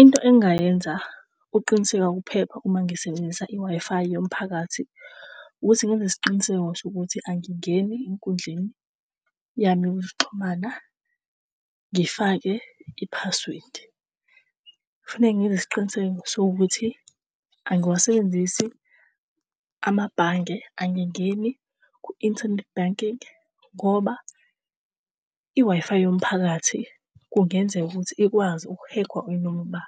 Into engingayenza ukuqiniseka ukuphepha uma ngisebenzisa i-Wi-Fi yomphakathi ukuthi ngenze isiqiniseko sokuthi angingeni enkundleni yami yokuxhumana ngifake i-password. Faneke ngenze isiqiniseko sokuthi angiwasebenzisi amabhange. Angingeni ku-internet banking ngoba i-Wi-Fi yomphakathi kungenzeka ukuthi ikwazi uku-hack-wa inoma uba.